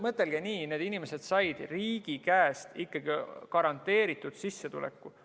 Mõtelge nii: need inimesed said riigi käest ikkagi garanteeritud sissetuleku.